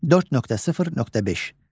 4.0.6.